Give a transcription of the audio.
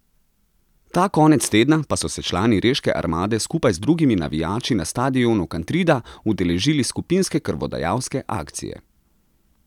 Ta konec tedna pa so se člani reške Armade skupaj z drugimi navijači na stadionu Kantrida udeležili skupinske krvodajalske akcije.